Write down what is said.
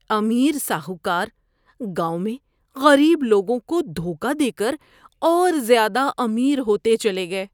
امیر ساہوکار گاؤں میں غریب لوگوں کو دھوکہ دے کر اور زیادہ امیر ہوتے چلے گئے۔